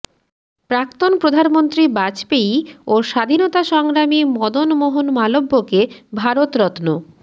প্রাক্তন প্রধানমন্ত্রী বাজপেয়ী ও স্বাধীনতা সংগ্রামী মদন মোহন মালব্যকে ভারতরত্ন